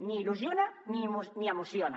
ni il·lusiona ni emociona